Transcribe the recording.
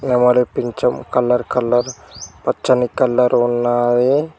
నెమలి పించం colour colour పచ్చని కలర్ ఉన్నాది.